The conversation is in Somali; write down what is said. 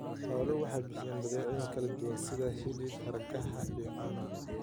Xooluhu waxay bixiyaan badeecooyin kala duwan sida hilibka, hargaha, iyo caanaha.